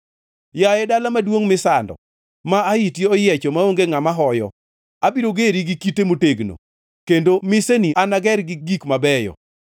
“Yaye dala maduongʼ misando, ma ahiti oyiecho maonge ngʼama hoyo, abiro geri gi kite motegno, kendo miseni anager gi gik mabeyo.